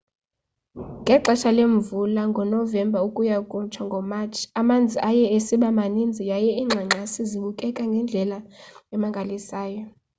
ngexesha lemvula ngonovemba ukuya kutsho ngomatshi amanzi aye esiba maninzi yaye iingxangxasi zibukeka ngendlela emangalisayo